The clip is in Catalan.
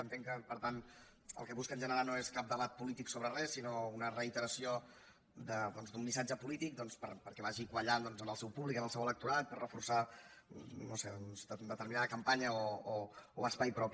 entenc que per tant el que busquen generar no és cap debat polític sobre res sinó una reiteració d’un missatge polític doncs perquè vagi quallant en el seu públic en el seu electorat per reforçar no sé determinada campanya o espai propi